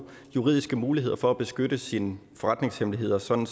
juridiske muligheder for at beskytte sine forretningshemmeligheder sådan